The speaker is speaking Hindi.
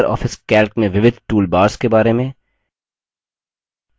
लिबर ऑफिस calc में विविध toolbars के बारे में